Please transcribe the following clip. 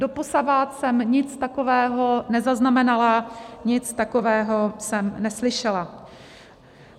Doposavad jsem nic takového nezaznamenala, nic takového jsem neslyšela.